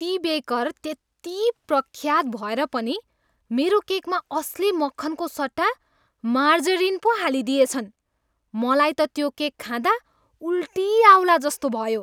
ती बेकर त्यति प्रख्यात भएर पनि मेरो केकमा असली मक्खनको सट्टा मार्जरिन पो हालिदिएछन्। मलाई त त्यो केक खाँदा उल्टी आउलाजस्तो भयो।